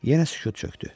Yenə sükut çökdü.